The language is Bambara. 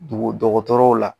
Dogo dɔgɔtɔrɔw la